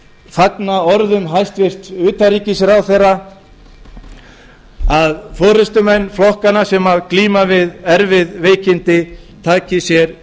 fagna orðum hæstvirts utanríkisráðherra um að forustumenn flokkanna sem glíma við erfið veikindi taki sér